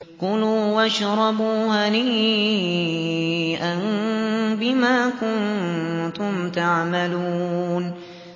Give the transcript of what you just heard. كُلُوا وَاشْرَبُوا هَنِيئًا بِمَا كُنتُمْ تَعْمَلُونَ